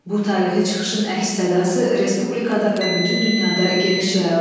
Bu tarixi çıxışın əks-sədası respublikada və bütün dünyada geniş yayıldı.